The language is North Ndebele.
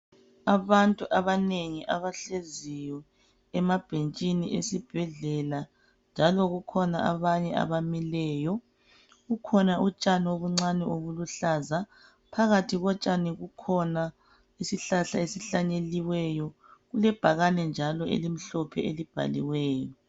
Abantu abanengi abahleziyo emabhetshini esibhedlela njalo kukhona abanye abamileyo kukhona utshani obuncane obuluhlaza phakathi kotshani kukhona isihlahla esihlanyiweyo kulebhakane njalo elimhlophe elibhaliweyo.